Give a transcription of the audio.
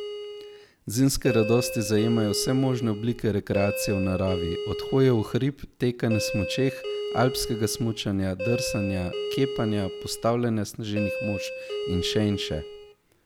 Zimske radosti zajemajo vse možne oblike rekreacije v naravi, od hoje v hrib, teka na smučeh, alpskega smučanja, drsanja, kepanja, postavljanja sneženih mož in še in še.